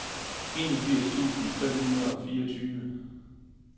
enogfirs tusind fem hundrede og fireogtyve